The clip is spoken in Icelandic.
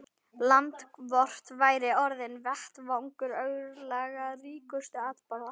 Land vort væri orðinn vettvangur örlagaríkustu atburða.